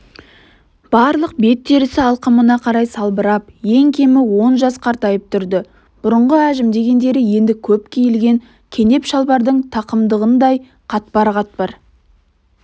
барлық бет терісі алқымына қарай салбырап ең кемі он жас қартайып тұрды бұрынғы әжім дегендері енді көп киілген кенеп шалбардың тақымдығындай қатпар-қатпар